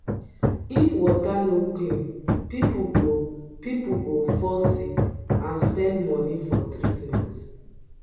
if water no clean pipo go pipo go fall sick and spend money for treatment.